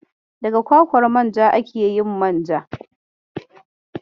Daga kwakwar manja ake yin manja.